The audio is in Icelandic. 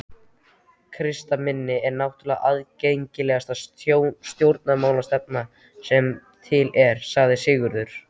Kratisminn er náttúrlega aðgengilegasta stjórnmálastefna sem til er, sagði Sigurður.